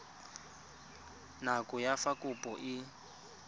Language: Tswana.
nako ya fa kopo e